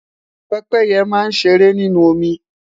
pépéye ma n ṣere ninu omi